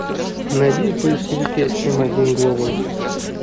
найди в поисковике эм один глобал